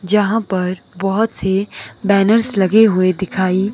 जहां पर बोहोत से बैनर्स लगे हुए दिखाइ--